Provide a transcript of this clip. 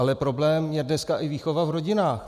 Ale problém je dneska i výchova v rodinách.